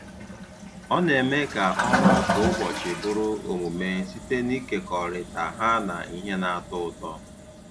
Ọ na-eme ka ọrụ kwa ụbọchị bụrụ omume site n’ịkekọrịta ha na ihe na-atọ ụtọ.